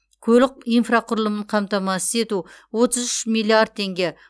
көлік инфрақұрылымын қамтамасыз ету отыз үш миллиард теңге